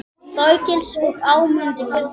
Þorgils og Ámundi Guðni.